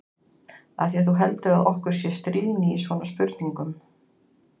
Af því að þú heldur að okkur sé stríðni í svona spurningum.